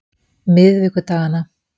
miðvikudaganna